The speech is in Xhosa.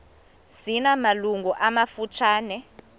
zina malungu amafutshane